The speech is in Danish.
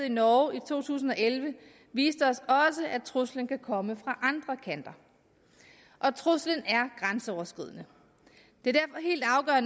i norge i to tusind og elleve viste os at truslen også kan komme fra andre kanter og truslen er grænseoverskridende det